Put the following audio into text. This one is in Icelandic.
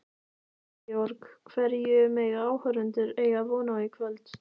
Georg, hverju mega áhorfendur eiga von á í kvöld?